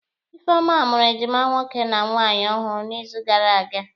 Ifeoma mụrụ ejima nwoke na nwaanyị ọhụrụ n'izu gara aga.